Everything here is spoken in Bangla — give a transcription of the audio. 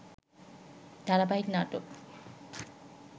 ধারাবাহিক নাটক